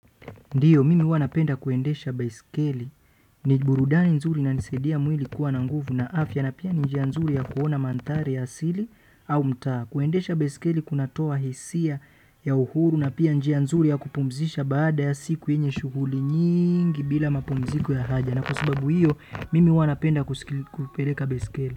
Ndiyo, mimi huwa napenda kuendesha baiskeli, ni burudani nzuri, inanisaidia mwili kuwa na nguvu na afya. Na pia ni njia nzuri ya kuona mandhari ya asili au mtaa. Kuendesha baiskeli kunatoa hisia ya uhuru na pia njia nzuri ya kupumzisha baada ya siku yenye shughuli nyingi bila mapumziko ya haja. Na kwa sabau hiyo mimi huwa napenda kusikili, kupeleka baiskeli.